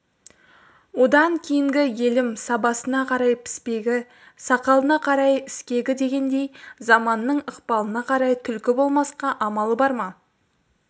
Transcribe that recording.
одан кейінгі елім сабасына қарай піспегі сақалына қарай іскегі дегендей заманының ықпалына қарай түлкі болмасқа амалы бар ма